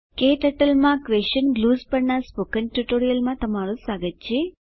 નમસ્કાર ક્ટર્ટલ માં ક્વેશન ગ્લુઝ પરનાં સ્પોકન ટ્યુટોરીયલમાં સ્વાગત છે